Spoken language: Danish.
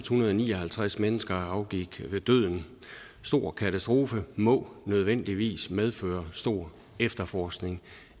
hundrede og ni og halvtreds mennesker afgik ved døden en stor katastrofe må nødvendigvis medføre stor efterforskning